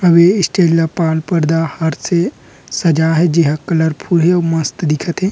अभी इस्तिलया पात पर्दा हाट से सजा हे जिहा कलर फुल हे अउ मस्त दिखत हे।